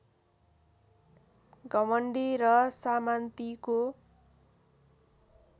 घमण्डी र सामान्तिको